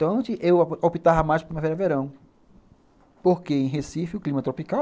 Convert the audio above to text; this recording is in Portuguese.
Então, eu optava mais para Primavera e Verão, porque em Recife o clima é tropical,